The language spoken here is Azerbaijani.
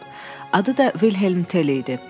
Adı da Vilhelm Tel idi.